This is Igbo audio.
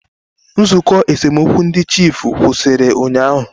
Nzụkọ esemokwu ndị chiefụ kwụsịrị ụnyaahụ.